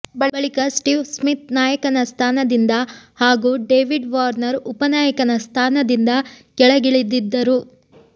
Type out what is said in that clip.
ಬಳಿಕ Steve Smith ನಾಯಕನ ಸ್ಥಾನದಿಂದ ಹಾಗೂ ಡೇವಿಡ್ ವಾರ್ನರ್ ಉಪನಾಯಕನ ಸ್ಥಾನದಿಂದ ಕೆಳಗಿಳಿದಿದ್ದರು